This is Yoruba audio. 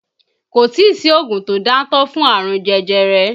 Kò tí sí oògùn tó dáńtọ́ fún àrùn jẹjẹrẹ